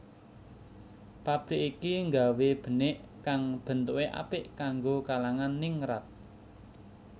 Pabrik iki nggawé benik kang bentuke apik kanggo kalangan ningrat